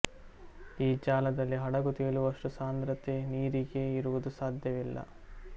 ಈ ಜಾಗದಲ್ಲಿ ಹಡಗು ತೇಲುವಷ್ಟು ಸಾಂದ್ರತೆ ನೀರಿಗೆ ಇರುವುದು ಸಾಧ್ಯವಿಲ್ಲ